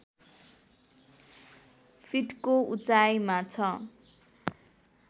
फिटको उचाइमा छ